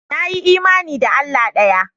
Na yi imani da Allah ɗaya.